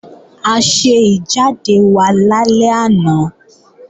A ṣe ìjáde wa lálẹ́ àná